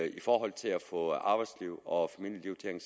i forhold til at få arbejdsliv og familieliv til at